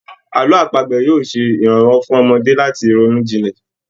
Àlọ́ àpagbè yóò ṣe ìrànwọ́ fún ọmọdé láti lè ronú jinlẹ̀